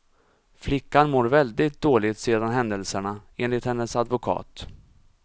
Flickan mår väldigt dåligt sedan händelserna, enligt hennes advokat.